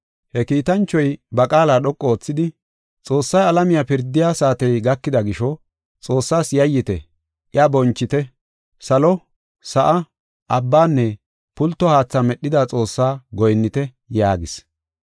He kiitanchoy ba qaala dhoqu oothidi, “Xoossay alamiya pirdiya saatey gakida gisho Xoossaas yayyite; iya bonchite. Salo, sa7aa, abbanne pulto haatha medhida Xoossaa goyinnite” yaagis.